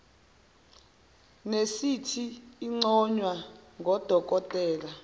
nesithi inconywa ngodokotela